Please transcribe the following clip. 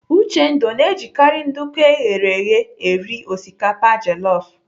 Uchendu ọ na-ejikarị nduku eghere eghe eri osikapa jelọf?